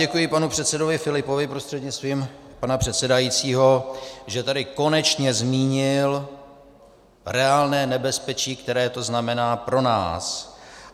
Děkuji panu předsedovi Filipovi prostřednictvím pana předsedajícího, že tady konečně zmínil reálné nebezpečí, které to znamená pro nás.